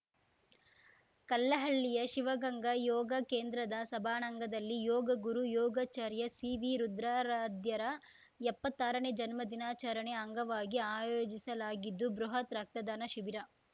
ಕಲ್ಲಹಳ್ಳಿಯ ಶಿವಗಂಗಾ ಯೋಗ ಕೇಂದ್ರದ ಸಭಾಂಣಂಗದಲ್ಲಿ ಯೋಗ ಗುರು ಯೋಗಾಚಾರ್ಯ ಸಿವಿ ರುದ್ರಾರಾಧ್ಯರ ಎಪ್ಪತ್ತಾರನೇ ಜನ್ಮ ದಿನಾಚರಣೆ ಅಂಗವಾಗಿ ಆಯೋಜಿಸಲಾಗಿದ್ದು ಬೃಹತ್‌ ರಕ್ತದಾನ ಶಿಬಿರ